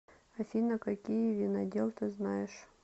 афина какие винодел ты знаешь